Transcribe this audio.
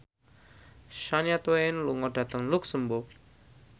Shania Twain lunga dhateng luxemburg